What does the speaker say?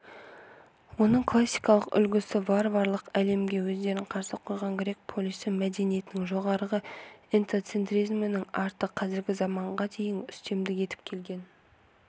оның классикалық үлгісі варварлық әлемге өздерін қарсы қойған грек полисі мәдениетінің жоғарғы этноцентризмнің арты қазіргі заманға дейін үстемдік етіп келген